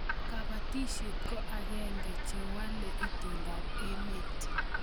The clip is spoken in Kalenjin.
Kapatishet ko ag'en'ge che walaei itondo ab emet